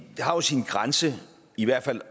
har jo sin grænse i hvert fald